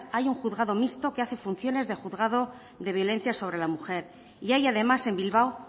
hay un juzgado mixto que hace funciones de juzgado de violencia sobre la mujer y hay además en bilbao